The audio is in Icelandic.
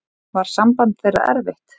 Var samband þeirra erfitt.